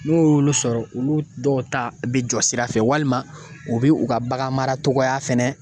N'u y'olu sɔrɔ olu dɔw ta bɛ jɔ sira fɛ walima u bɛ u ka baganmara cogoya fɛnɛ